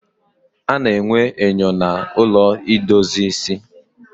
A na-enwe enyo na ụlọ idozi ịsị